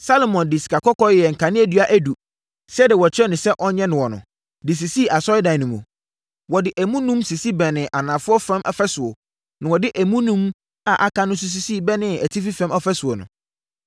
Salomo de sikakɔkɔɔ yɛɛ nkaneadua edu, sɛdeɛ wɔkyerɛɛ no sɛ ɔnyɛ noɔ no, de sisii Asɔredan no mu. Wɔde emu enum sisi bɛnee anafoɔ fam fasuo, na wɔde emu enum a aka no nso sisi bɛnee atifi fam ɔfasuo no.